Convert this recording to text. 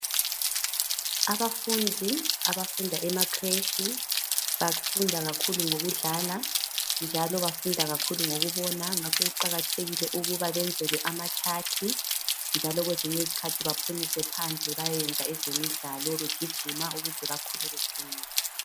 Abafundi abafunda emacreche bafunda kakhulu ngokudlala njalo bafunda kakhulu ngokubona ngakho kuqakathekile ukuba benzelwe amachart njalo kwezinye izikhathi baphunyiswe phandle bayeyenza ezemidlalo begijima ukuze bakhule beqinile.